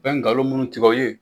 Bɛ ngalon minnu tigɛ o ye